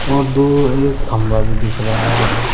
और दो एक खंभा भी दिख रहा है।